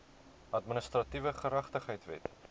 administratiewe geregtigheid wet